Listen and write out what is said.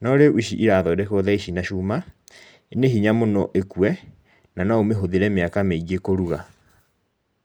No rĩu ici irathondekwa rĩu na cuma nĩ hinya mũno ĩkue nano ũmĩhũthĩre mĩaka mĩingĩ kũruga.